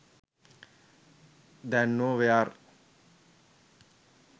දැන් නෝ වෙයාර්.